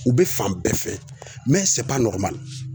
U bɛ fan bɛɛ fɛ nɔgɔman